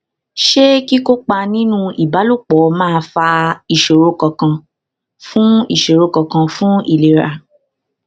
ṣé kíkópa nínú ìbálòpò máa fa ìṣòro kankan fún ìṣòro kankan fún ìlera